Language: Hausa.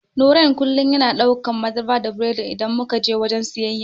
Nurain kullum yana daukan madara da biredi idan muka je wajen siyayya.